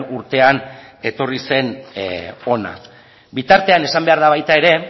urtean etorri zen hona bitartean esan behar da baita ere